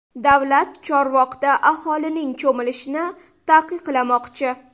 Davlat Chorvoqda aholining cho‘milishini taqiqlamoqchi.